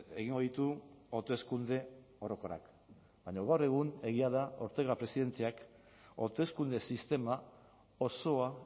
egingo ditu hauteskunde orokorrak baina gaur egun egia da ortega presidenteak hauteskunde sistema osoa